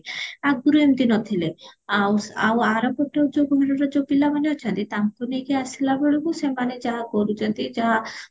ଆଗରୁ ଏମିତି ନଥିଲେ ଆଉ ଆଉ ଆର ପଟ ଯୋଉ ଘରର ଯୋଉ ପିଲାମାନେ ଅଛନ୍ତି ତାଙ୍କୁ ନେଇକି ଆସିଲାବେଳକୁ ସେମାନେ ଯାହା କରୁଚନ୍ତି ଯାହା